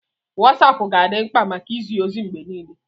Wosapu ga-adị mkpa maka izi ozi mgbe niile.